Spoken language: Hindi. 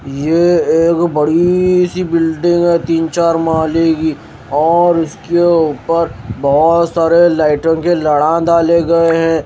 ये एगो बड़ी सी बिल्डिंग है तीन चार माले की ओर उसके ऊपर बहोत सारे लाइटों के लड़ा डाले गए हैं।